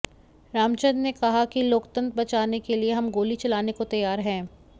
रामचंद्र ने कहा कि लोकतंत्र बचाने के लिए हम गोली चलाने को तैयार हैं